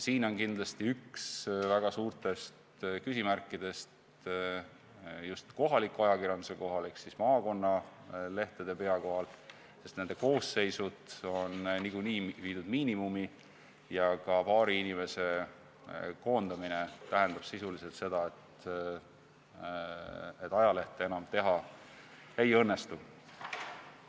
Siin on kindlasti üks väga suurtest küsimärkidest just kohaliku ajakirjanduse ehk maakonnalehtede pea kohal, sest nende koosseisud on niikuinii viidud miinimumi ja ka paari inimese koondamine tähendab sisuliselt seda, et ajalehte enam teha ei õnnestu.